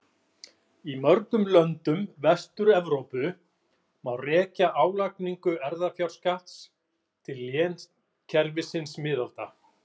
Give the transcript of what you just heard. Í mörgum löndum Vestur-Evrópu má rekja álagningu erfðafjárskatts til lénskerfis miðalda.